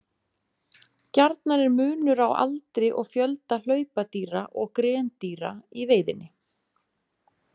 Gjarnan er munur á aldri og fjölda hlaupadýra og grendýra í veiðinni.